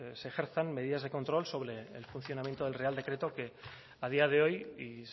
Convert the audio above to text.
se ejerzan medidas de control sobre el funcionamiento del real decreto que a día de hoy y